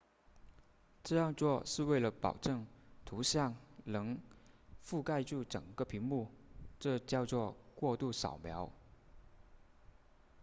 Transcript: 这样做是为了保证图像能覆盖住整个屏幕这叫做过度扫描